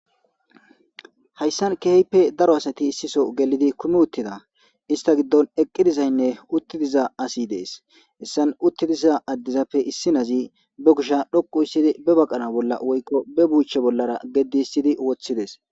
Hayssan keehippe daro asati issisoo gelidi kumi uttida. Hista giddon eqqi dizaynne utti diza asi de7ees. Hessan utti diza addezappe issi na7azi ba kushiya dhoqusttidi bebaqara bolla woykko ba buucha bollara gedissidi wothides.